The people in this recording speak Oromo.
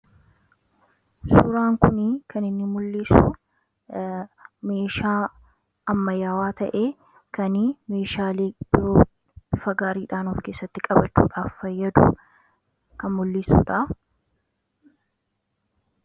Suuraan kunii kan inni mul'isu meeshaa ammayaawaa ta'e kanii meeshaa biroo bifa gaariidhaan of keessatti qabachuudhaaf fayyadu kan mul'isuudha.